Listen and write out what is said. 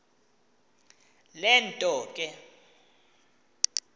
le nto ke